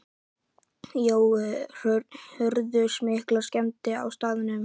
Jói, urðu miklar skemmdir á staðnum?